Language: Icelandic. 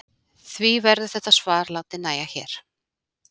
því verður þetta svar látið nægja hér